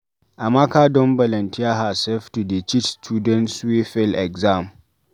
Amaka don volunteer hersef to dey teach students wey fail exam.